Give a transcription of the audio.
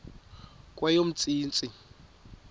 kweyomntsintsi